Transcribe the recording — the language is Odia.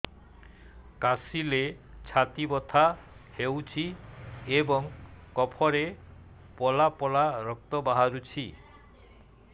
କାଶିଲେ ଛାତି ବଥା ହେଉଛି ଏବଂ କଫରେ ପଳା ପଳା ରକ୍ତ ବାହାରୁଚି